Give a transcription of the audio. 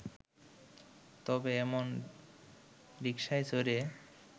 তবে এমন রিক্সায় চড়ে